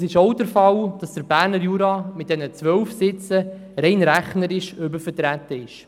Es ist auch der Fall, dass der Berner Jura mit seinen 12 Sitzen rein rechnerisch übervertreten ist.